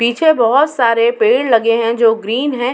पीछे बहोत सारे पेड़ लगे हैं जो ग्रीन हैं।